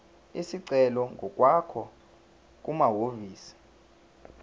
isicelo ngokwakho kumahhovisi